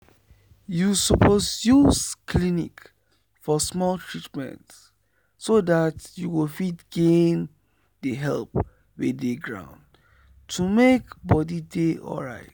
you suppose use clinic for small treatment so that you go fit gain the help wey dey ground to make body dey alright.